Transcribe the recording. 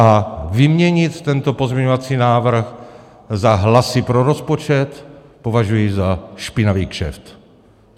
A vyměnit tento pozměňovací návrh za hlasy pro rozpočet považuji za špinavý kšeft.